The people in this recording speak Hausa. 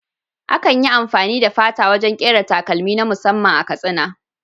Akan yi amfani da fata wajen ƙera takalmi na musamman a Katsina.